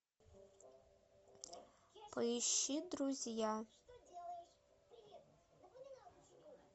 поищи друзья